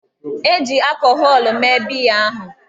E ji akọhọlụ mee biya ahụ.